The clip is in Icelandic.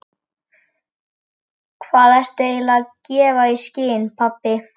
Hvað ertu eiginlega að gefa í skyn, pabbi?